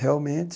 Realmente.